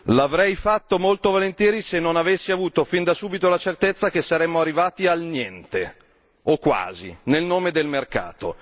L'avrei fatto molto volentieri se non avessi avuto fin da subito la certezza che saremmo arrivati al niente o quasi, nel nome del mercato.